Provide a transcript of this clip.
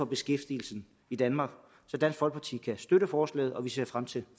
beskæftigelsen i danmark så dansk folkeparti kan støtte forslaget og vi ser frem til